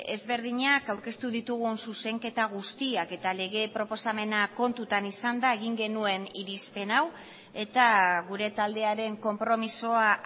ezberdinak aurkeztu ditugun zuzenketa guztiak eta lege proposamena kontutan izanda egin genuen irizpen hau eta gure taldearen konpromisoa